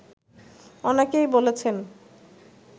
অনেকেই বলেছেন